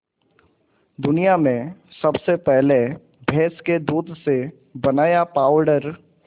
दुनिया में सबसे पहले भैंस के दूध से बनाया पावडर